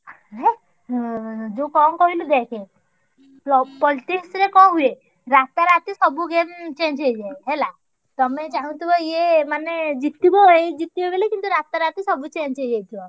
ହେ ଯୋଉ କଣ କହିଲୁ ଦେଖ politics ରେ କଣ ହୁଏ ରାତାରାତି ସବୁ game change ହେଇଯାଏ ହେଲା। ତମେ ଚାହୁଁଥିବ ୟେ ମାନେ ଜିତିବ ଏଇ ଜିତିବ ବୋଲି କିନ୍ତୁ ରାତାରାତି ସବୁ change ହେଇଯାଇଥିବ।